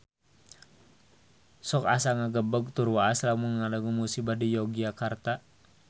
Sok asa ngagebeg tur waas lamun ngadangu musibah di Yogyakarta